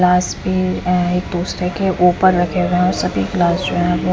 गिलास भी हैं एक दूसरे के ऊपर रखे गये हैं और सभी गिलास जो हैं वो--